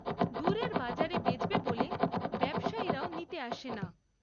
দূরের বাজারে বেচবে বলে ব্যবসায়ীরাও নিতে আসে না।